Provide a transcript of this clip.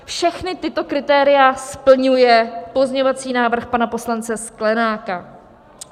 Všechna tato kritéria splňuje pozměňovací návrh pana poslance Sklenáka.